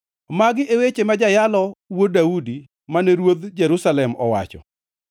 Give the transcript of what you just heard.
Magi e weche mane jayalo ma wuod Daudi, mane ruodh Jerusalem owacho.